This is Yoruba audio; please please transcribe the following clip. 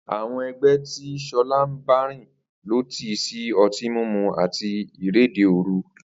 Àwo̩n e̩gbé̩ tí S̩o̩lá ń bárìn ló tì í sí o̩tí mímu àti ìréde òru